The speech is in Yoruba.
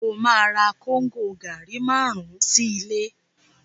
Ó ma ra Kóngò gàárì márùn-ún sí ilé